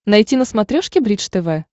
найти на смотрешке бридж тв